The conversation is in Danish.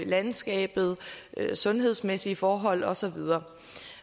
landskabet sundhedsmæssige forhold og så videre